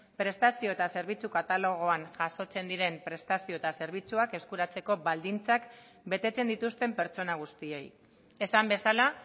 prestazio eta zerbitzu katalogoan jasotzen diren prestazio eta zerbitzuak eskuratzeko baldintzak betetzen dituzten pertsona guztiei esan bezala